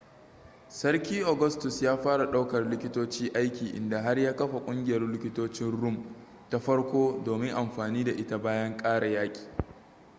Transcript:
sarki augustus ya fara daukar likitoci aiki inda har ya kafa ƙungiyar likitocin rum ta farko domin anfani da ita bayan ƙare yaki